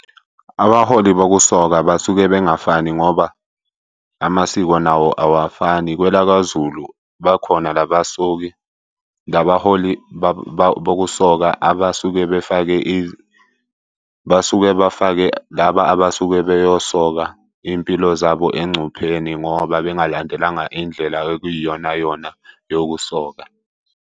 Abaholi bokusoka basuke bengafani ngoba amasiko nawo awafani. Kwela kwaZulu bakhona la basoki, la baholi bokusoka abasuke befake . Basuke befake laba abasuke beyosoka iy'mpilo zabo engcupheni ngoba bengalandelanga indlela okuyiyonayona yokusoka.